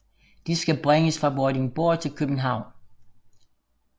De skal bringes fra Vordingborg til København